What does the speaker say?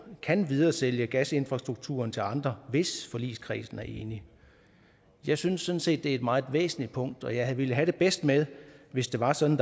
kan videresælge gasinfrastrukturen til andre hvis forligskredsen er enig jeg synes sådan set er et meget væsentligt punkt og jeg ville have det bedst med hvis det var sådan